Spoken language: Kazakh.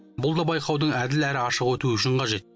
бұл да байқаудың әділ әрі ашық өтуі үшін қажет